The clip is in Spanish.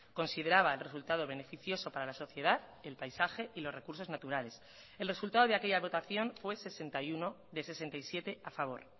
consideraba el resultado beneficioso para la sociedad el paisaje y los recursos naturales el resultado de aquella votación fue sesenta y uno de sesenta y siete a favor